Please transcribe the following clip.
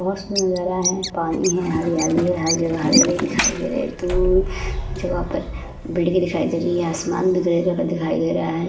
बहोत जगह है। पानी है हरियाली है। हर जगह हरे-हरे दिखाई दे रहा है। पूरी जगह पर बिजली दिखाई दे रही है। आसमान भी कई कलर का दिखाई दे रहा है।